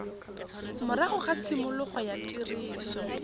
morago ga tshimologo ya tiriso